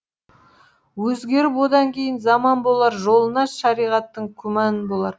өзгеріп одан кейін заман болар жолына шариғаттың күмән болар